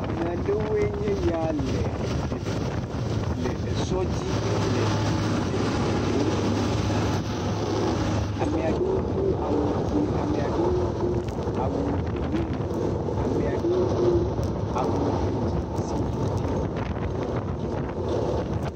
Ame aɖewo enye ya le ee e le sɔ dzi e le du ŋum. Ame aɖewo do awu dzɛ̃, ame aɖewo do awu gbemumu, ame aɖewo do awu ŋuti si ɖiɖi.